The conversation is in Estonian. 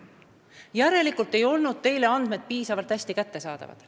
Järelikult ei olnud teile andmed piisavalt hästi kättesaadavad.